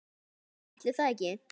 Jú, ætli það ekki.